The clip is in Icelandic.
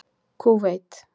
Kúveit